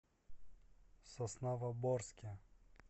сосновоборске